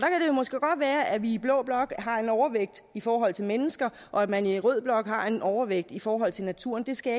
måske godt være at vi i blå blok har en overvægt i forhold til mennesker og at man i rød blok har en overvægt i forhold til naturen det skal